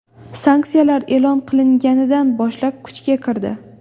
Sanksiyalar e’lon qilinganidan boshlab kuchga kirdi.